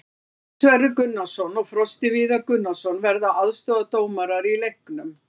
Gunnar Sverrir Gunnarsson og Frosti Viðar Gunnarsson verða aðstoðardómarar í leiknum.